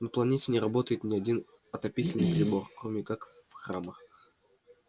на планете не работает ни один отопительный прибор кроме как в храмах